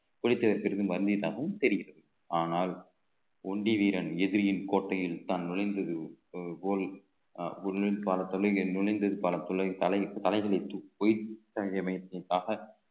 புலித்தேவர் தெரிகிறது ஆனால் ஒண்டிவீரன் எதிரியின் கோட்டையில் தான் நுழைந்தது போல் பாலத்திலே இங்கே நுழைந்தது பல தலைகளை